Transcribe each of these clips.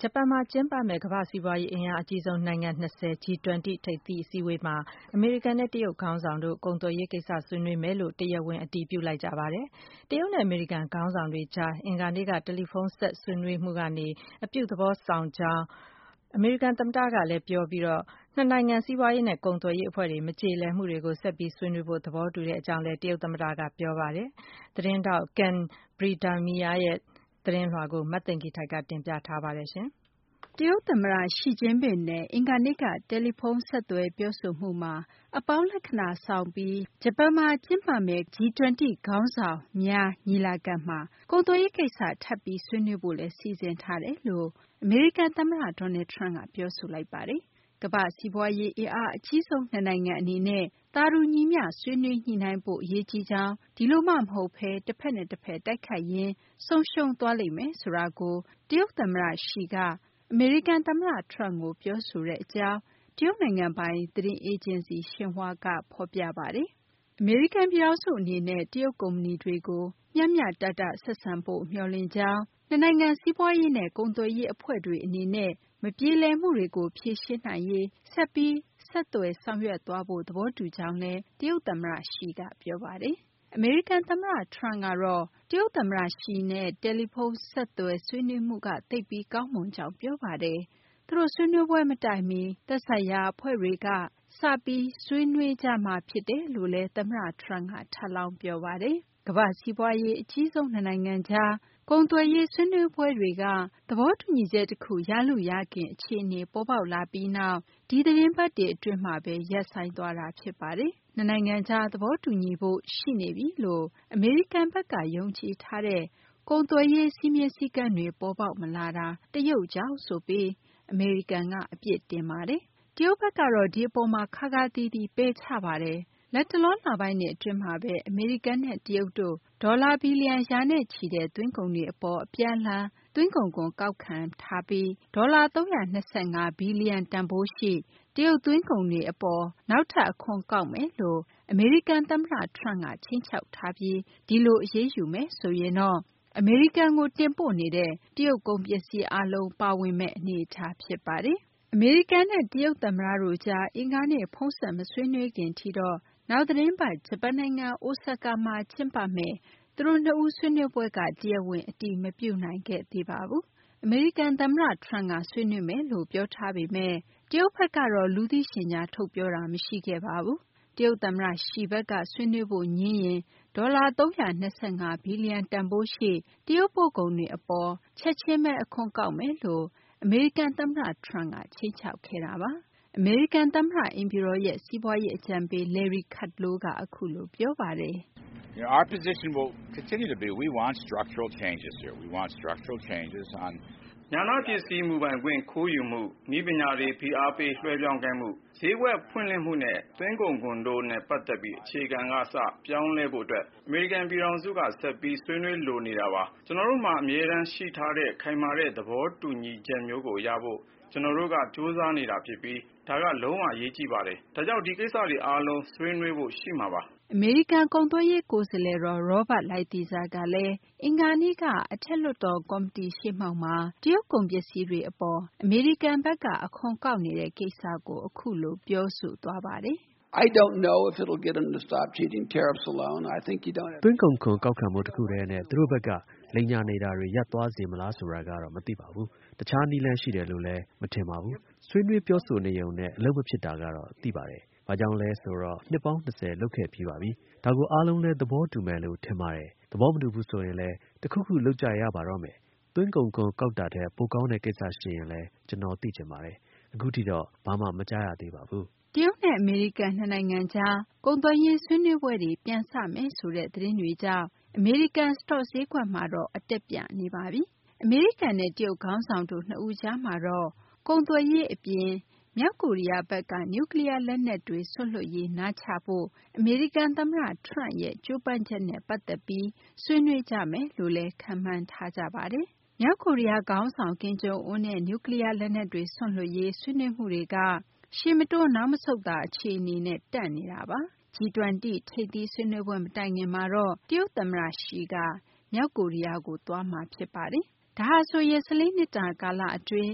ဂျပန်မှာ ကျင်းပမယ့် ကမ္ဘာ့ စီးပွားရေး အင်အားအကြီးဆုံး နိုင်ငံ ၂၀ - G-20 ထိပ်သီး အစည်းအဝေးမှာ အမေရိကန်နဲ့ တရုတ် ခေါင်းဆောင်တို့ ကုန်သွယ်ရေး ကိစ္စ ဆွေးနွေးမယ်လို့ တရားဝင် အတည်ပြု ပြောဆိုလိုက်ကြပါတယ်။ တရုတ်နဲ့ အမေရိကန် ခေါင်းဆောင်ကြား အင်္ဂါနေ့က တယ်လီဖုန်းဆက် ဆွေးနွေးမှုက အပြုသဘောဆောင်ကြောင်း အမေရိကန် သမ္မတကလည်း ပြောဆိုပြီး နှစ်နိုင်ငံ စီးပွားရေးနဲ့ ကုန်သွယ်ရေး အဖွဲ့တွေ မကြေလည်မှုတွေကို ဆက်ပြီး ဆွေးနွေးဖို့ သဘောတူကြောင်းလည်း တရုတ်သမ္မတက ပြောဆိုလိုက်ပါတယ်။ Ken Bredemeier ရဲ့ သတင်းလွှာကို မသိင်္ဂ ီထိုက် တင်ပြထားပါတယ်။ တရုတ် သမ္မတ Xi Jinping နဲ့ အင်္ဂါနေ့က တယ်လီဖုန်းဆက်သွယ် ပြောဆိုမှုမှာ အပေါင်းလက္ခာဏာ ဆောင်ပြီး ဂျပန်မှာ ကျင်းပမယ့် ကမ္ဘာ့စီးပွားရေး အင်အားအကြီးဆုံး နိုင်ငံ ၂၀ G-20 ခေါင်းဆောင်မှား ညီလာခံမှာ ကုန်သွယ်ရေး ကိစ္စ ထပ်ပြီး ဆွေးနွေးဖို့လည်း စီစဉ်ထားတယ်လို့ အမေရိကန် သမ္မတ Donald Trump က ပြောဆိုလိုက်ပါတယ်။ကမ္ဘာ့စီးပွားရေး အင်အားအကြီးဆုံး နှစ်နိုင်ငံ အနေနဲ့ သာတူညီမျှ ဆွေးနွေးညှိနှိုင်းဖို့ အရေးကြီးကြောင်း ဒီလိုမှ မဟုတ်ဘဲ တဖက်နဲ့ တဖက် တိုက်ခိုက်ရင်း ဆုံးရှုံးသွားလိမ့်မယ်ဆိုတာကို တရုတ်သမ္မတ Xi က အမေရိကန် သမ္မတ Trump ကို ပြောဆိုတဲ့ အကြောင်း တရုတ် နိုင်ငံပိုင် သတင်းအေဂျင်စီ Xinhua က ဖော်ပြပါတယ်။ အမေရိကန် ပြည်ထောင်စု အနေနဲ့ တရုတ် ကုမ္ပဏီတွေကို မျှမျှတတ ဆက်ဆံဖို့ မျှော်လင့်ကြောင်း၊ နှစ်နိုင်ငံ စီးပွားရေးနဲ့ ကုန်သွယ်ရေး အဖွဲ့တွေ အနေနဲ့ မပြေလည်မှုတွေကို ဖြေရှင်းနိုင်ရေး ဆက်ပြီး ဆက်သွယ်ဆောင်ရွက်သွားဖို့ သဘောတူကြောင်းလည်း တရုတ် သမ္မတ Xi ကပြောဆိုပါတယ်။ အမေရိကန် သမ္မတ Trump ကတော့ တရုတ် သမ္မတ Xi နဲ့ ဖုန်းဆက် ဆွေးနွေးမှုက သိပ်ပြီး ကောင်းမွန်ကြောင်း ပြောပါတယ်။ သူတို့ ဆွေးနွေးပွဲ မတိုင်မီ သက်ဆိုင်ရာ အဖွဲ့တွေက စပြီး ဆွေးနွေးကြမှာ ဖြစ်တယ်လို့လည်း သမ္မတ Trump က ထပ်လောင်း ပြောပါတယ်။ ကမ္ဘာ့ စီးပွားရေး အကြီးဆုံး နှစ်နိုင်ငံကြား ကုန်သွယ်ရေး ဆွေးနွေးပွဲတွေက သဘောတူညီချက် တခု ရလုရခင် အခြေအနေ ပေါ်ပေါက်လာပြီးနောက် ဒီသတင်းပတ်တွေ အတွင်းမှာဘဲ ရပ်ဆိုင်းသွားတာ ဖြစ်ပါတယ်။ နှစ်နိုင်ငံကြား သဘောတူညီဖို့ ရှိနေပြီလို့ အမေရိကန်ဘက်ကယုံကြည်ထားတဲ့ ကုန်သွယ်ရေး စည်းမျဉ်းစည်းကမ်းတွေ ပေါ်ပေါက်မလာတာ တရုတ်ကြောင့်ဆိုပြီး အမေရိကန်က အပြစ်တင်ပါတယ်။ တရုတ်ဘက်ကတော့ ဒီအပေါ်မှာ ခါးခါးသီးသီး ပယ်ချပါတယ်။ ဒီအပေါ် အမေရိကန်က တရုတ်ကို အပြစ်တင်ပါတယ်။ လတ်တလော လပိုင်းတွေ အတွင်းမှာဘဲ အမေရိကန်နဲ့ တရုတ်တို့ ဒေါ်လာ ဘီလီယံ ရာနဲ့ချီတဲ့ သွင်းကုန်တွေ အပေါ် အပြန်အလှန် သွင်းကုန်ခွန်တွေ ကောက်ခံထားပြီး ဒေါ်လာ ၃၂၅ ဘီလီယံ တန်ဖိုးရှိ တရုတ်သွင်းကုန်တွေ အပေါ် နောက်ထပ် အခွန်ကောက်မယ်လို့ အမေရိကန်သမ္မတ Trump က ခြိမ်းခြောက်ထားပြီး ဒီလို အရေးယူမယ်ဆိုရင်တော့ အမေရိကန်ကို တင်ပို့နေတဲ့ တရုတ် ကုန်ပစ္စည်း အားလုံးပါဝင်မယ့်အနေအထား ဖြစ်ပါတယ်။ အမေရိကန် နဲ့ တရုတ် သမ္မတတို့ကြား အင်္ဂါနေ့ ဖုန်းဆက် မဆွေးနွေးခင်ထိတော့ နောက် သီတင်းပတ် ဂျပန်နိုင်ငံ အိုဆာကာမှာ ကျင်းပမယ့်သူတို့နှစ်ဦး ဆွေးနွေးပွဲက တရားဝင် အတည်မပြုနိုင်ခဲ့သေးပါဘူး။ အမေရိကန် သမ္မတ Trump က ဆွေးနွေးမယ်လို့ ပြောထားပေမယ့် တရုတ်ဘက်ကတော့ လူသိရှင်ကြား ထုတ်ပြောတာ မရှိခဲ့ပါဘူး။ တရုတ် သမ္မတ Xi ဘက်က ဆွေးနွေးဖို့ ငြင်းရင် ဒေါ်လာ ၃၂၅ ဘီလီယံ တန်ဖိုးရှိ တရုတ် ပို့ကုန်တွေ အပေါ် ချက်ချင်းဘဲ အခွန်ကောက်မယ်လို့ အမေရိကန် သမ္မတ Trump က ခြိမ်းခြောက်ခဲ့တာပါ။ အမေရိကန် သမ္မတ အိမ်ဖြူတော်ရဲ့ စီးပွားရေး အကြံပေး Larry Kudlow ကတော့ အခုလို ပြောပါတယ်။ “ ဉာဏပစ္စည်း မူပိုင်ခွင့် ခိုးယူမှု၊ နည်းပညာတွေ ဖိအားပေး လွှဲပြောင်းခိုင်းမှု၊ ဈေးကွက် ဖွင့်လှစ်မှုနဲ့ သွင်းကုန်ခွန်တို့နဲ့ ပတ်သက်ပြီး အခြေခံကစ ပြောင်းလဲဖို့ အတွက် အမေရိကန် ပြည်ထောင်စုက ဆက်ပြီး ဆွေးနွေးလိုနေတာပါ။ ကျနော်တို့မှာ အမြဲတမ်းရှိထားတဲ့ ခိုင်မာတဲ့သဘောတူညီချက်မျိုးကို ရဖို့ ကျနော်တို့က ကြိုးစားနေတာ ဖြစ်ပြီး ဒါက လုံးဝ အရေးကြီးပါတယ်။ ဒါကြောင့် ဒီကိစ္စတွေ အားလုံး ဆွေးနွေးဖို့ ရှိမှာပါ။ ” အမေရိကန် ကုန်သွယ်ရေး ကိုယ်စားလှယ်တော် Robert Lighthizer ကလည်း အင်္ဂါနေ့က အထက်လွှတ်တော် ကော်မတီရှေ့မှောက်မှာ တရုတ် ကုန်ပစ္စည်းတွေ အပေါ် အမေရိကန် ဘက်က အခွန်ကောက်နေတဲ့ ကိစ္စကို အခုလို ပြောဆိုသွားပါတယ်။ “ သွင်းကုန်ခွန် ကောက်ခံမှု တခုတည်းနဲ့ သူတို့ဘက်က လိမ်ညာနေတာတွေ ရပ်သွားစေမလားဆိုတာကတော့ မသိပါဘူး။ တခြားနည်းလမ်း ရှိတယ်လို့လည်း မထင်ပါဘူး။ ဆွေးနွေးပြောဆိုနေရုံနဲ့ အလုပ်မဖြစ်တာကတော့ သိပါတယ်။ ဘာကြောင့်လဲ ဆိုတော့ နှစ်ပေါင်း၂၀ လုပ်ခဲ့ပြီးပါပြီ။ ဒါကို အားလုံးလည်း သဘောတူမယ်လို့ ထင်ပါတယ်။ သဘောမတူဘူးဆိုရင်လည်း တခုခု လုပ်ကြရပါတော့မယ်။ သွင်းကုန်ခွန် ကောက်တာထက် ပိုကောင်းတဲ့ ကိစ္စ ရှိရင်လည်း ကျနော် သိချင်ပါတယ်။ အခုထိတော့ ဘာမှ မကြားရသေးပါဘူး။ ” တရုတ်နဲ့ အမေရိကန် နှစ်နိုင်ငံကြား ကုန်သွယ်ရေး ဆွေးနွေးပွဲတွေ ပြန်စမယ်ဆိုတဲ့ သတင်းတွေကြောင်း အမေရိကန် စတော့ ဈေးကွက်မှာတော့ အတက်ပြနေပါပြီ။ အမေရိကန်နဲ့ တရုတ် ခေါင်းဆောင်တို့ နှစ်ဦးကြားမှာတော့ ကုန်သွယ်ရေး အပြင် မြောက်ကိုရီးယားဘက်က နျူကလီးယား လက်နက်ကတွေ စွန့်လွှတ်ရေး နားချရေး အမေရိကန် သမ္မတ Trump ကြိုးပမ်းချက်နဲ့ ပတ်သက်ပြီး ဆွေးနွေးကြမယ်လို့လည်း ခန့်မှန်းထားကြပါတယ်။ မြောက်ကိုရီးယား ခေါင်းဆောင် ကင်ဂျုံအွန်းနဲ့ နျူကလီးယား လက်နက်တွေ စွန့်လွှတ်ရေး ဆွေးနွေးမှုတွေကရှေ့မတိုး နောက်မဆုတ်သာ အခြေအနေနဲ့ တန့်နေတာပါ။ G -20 ထိပ်သီး ဆွေးနွေးပွဲ မတိုင်ခင်မှာတော့ တရုတ် သမ္မတ Xi က မြောက်ကိုရီးယားကို သွားမှာ ဖြစ်ပါတယ်။ ဒါဟာဆိုရင် ၁၄ နှစ်တာ ကာလ အတွင်း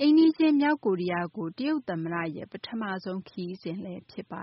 အိမ်နီးချင်း မြောက်ကိုရီးယားကို တရုတ် သမ္မတရဲ့ ပထမဆုံး ခရီးစဉ်လည်း ဖြစ်ပါ